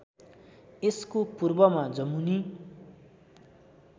यसको पूर्वमा जमुनी